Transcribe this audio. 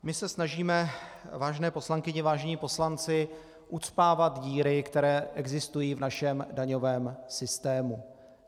My se snažíme, vážené poslankyně, vážení poslanci, ucpávat díry, které existují v našem daňovém systému.